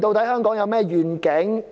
香港有何願景？